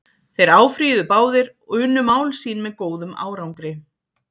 Þeir áfrýjuðu báðir og unnu mál sín með góðum árangri.